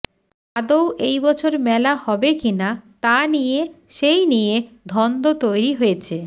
আদৌ এই বছর মেলা হবে কিনা তা নিয়ে সেই নিয়ে ধন্দ তৈরি হয়েছে